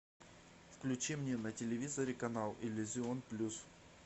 включи мне на телевизоре канал иллюзион плюс